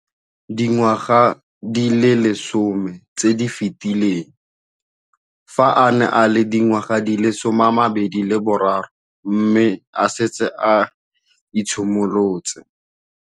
Dingwaga di le 10 tse di fetileng, fa a ne a le dingwaga di le 23 mme a setse a itshimoletse.